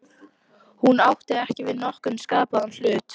Hún átti ekki við nokkurn skapaðan hlut.